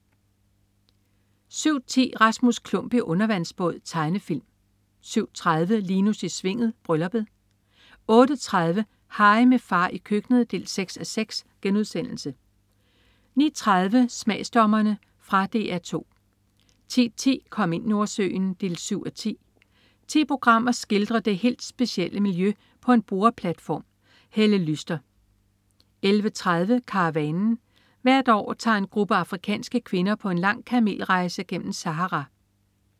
07.10 Rasmus Klump i undervandsbåd. Tegnefilm 07.30 Linus i Svinget. Brylluppet 08.30 Harry, med far i køkkenet 6:6* 09.30 Smagsdommerne. Fra DR 2 10.10 Kom ind Nordsøen 7:10. Ti programmer skildrer det helt specielle miljø på en boreplatform. Helle Lyster 11.30 Karavanen. Hvert år tager en gruppe afrikanske kvinder på en lang kamelrejse gennem Sahara